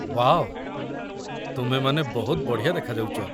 Wow, ତୁମେମାନେ ବହୁତ ବଢ଼ିଆ ଦେଖାଯାଉଚ ।